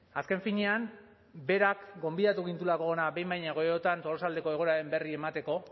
azken finean berak gonbidatu gintuelako hona behin baino gehiagotan tolosaldeko egoeraren berri emateko